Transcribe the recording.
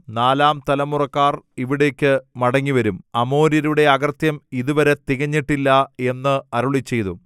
നാലാം തലമുറക്കാർ ഇവിടേക്ക് മടങ്ങിവരും അമോര്യരുടെ അകൃത്യം ഇതുവരെ തികഞ്ഞിട്ടില്ല എന്ന് അരുളിച്ചെയ്തു